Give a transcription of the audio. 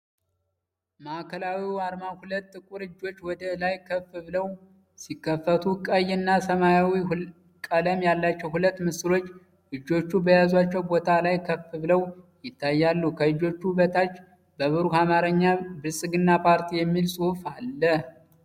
ማዕከላዊው አርማ ሁለት ጥቁር እጆች ወደ ላይ ከፍ ብለው ሲከፈቱ፣ ቀይ እና ሰማያዊ ቀለም ያላቸው ሁለት ምስሎች እጆቹ በያዟቸው ቦታ ላይ ከፍ ብለው ይታያሉ። ከእጆቹ በታች በብሩህ አማርኛ “ብልፅግና ፓርቲ” የሚል ጽሑፍ አለ